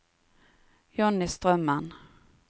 Jonny Strømmen